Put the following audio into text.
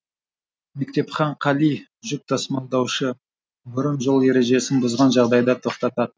мектепхан қали жүк тасымалдаушы бұрын жол ережесін бұзған жағдайда тоқтататын